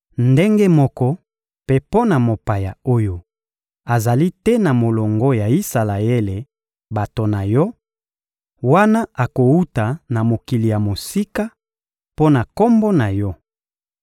Ndenge moko mpe mpo na mopaya oyo azali te na molongo ya Isalaele, bato na Yo: wana akowuta na mokili ya mosika, mpo na Kombo na Yo,